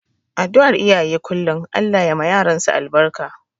Adduar iyaye kullum Allah ya ma yaransu albarka.